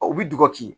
u bi dogo k'i